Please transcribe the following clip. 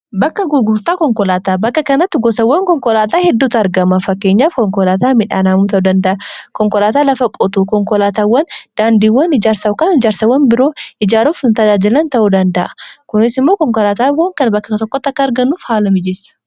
bakka gurgurtaa konkolaataa bakka kanatti gosawwan konkolaataa hedduutu argama fakeenyaaf konkolaataa midhaan haamuu ta'uu danda'a konkolaataa lafa qotu konkolaataawwan daandiiwwan ijaarsa kan ijaarsawwan biroo ijaaruufi tajaajilan ta'uu danda'a kuniis immoo konkolaataawwan kan bakka tokkotta akka argannuuf haala mijissaa